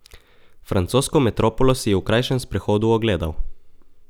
Francosko metropolo si je v krajšem sprehodu ogledal.